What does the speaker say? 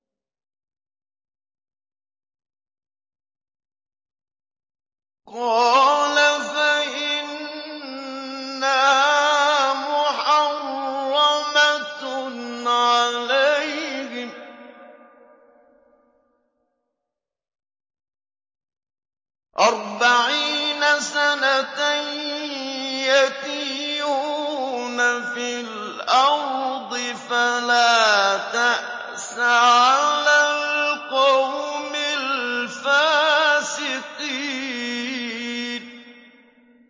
قَالَ فَإِنَّهَا مُحَرَّمَةٌ عَلَيْهِمْ ۛ أَرْبَعِينَ سَنَةً ۛ يَتِيهُونَ فِي الْأَرْضِ ۚ فَلَا تَأْسَ عَلَى الْقَوْمِ الْفَاسِقِينَ